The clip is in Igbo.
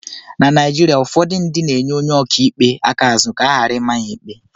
Na Naijirịa, ụfọdụ ndị na-enye Onye ọka ikpe aka azụ ka a ghara ịma ha ikpe